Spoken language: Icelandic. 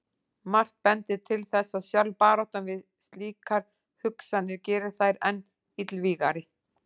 Margt bendir til þess að sjálf baráttan við slíkar hugsanir geri þær enn illvígari.